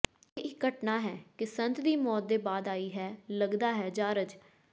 ਇਹ ਇੱਕ ਘਟਨਾ ਹੈ ਕਿ ਸੰਤ ਦੀ ਮੌਤ ਦੇ ਬਾਅਦ ਆਈ ਹੈ ਲੱਗਦਾ ਹੈ ਜਾਰਜ